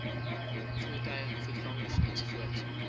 voertuie voetgangers ens